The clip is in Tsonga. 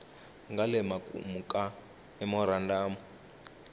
nga le makumu ka memorandamu